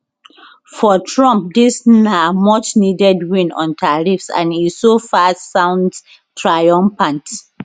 for trump dis na muchneeded win on tariffs and e so far sounds triumphant